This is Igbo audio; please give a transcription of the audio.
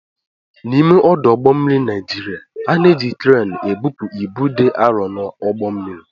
N'ime ọdụ ụgbọ mmiri Naijiriya, a na-eji kreenị ebupu ibu dị arọ n'ụgbọ mmiri.